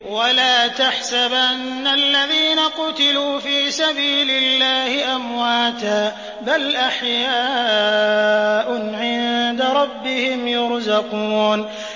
وَلَا تَحْسَبَنَّ الَّذِينَ قُتِلُوا فِي سَبِيلِ اللَّهِ أَمْوَاتًا ۚ بَلْ أَحْيَاءٌ عِندَ رَبِّهِمْ يُرْزَقُونَ